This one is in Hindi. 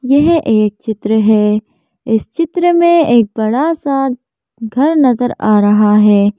यह एक चित्र है इस चित्र में एक बड़ा सा घर नजर आ रहा है।